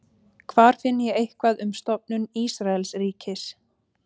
Hvar finn ég eitthvað um stofnun Ísraelsríkis?